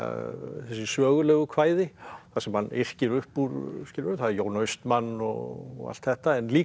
þessi sögulegu kvæði þar sem hann yrkir upp úr skilurðu það er Jón Austmann og allt þetta en líka